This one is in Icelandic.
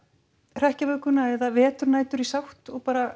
hrekkjavökuna eða veturnætur í sátt og bara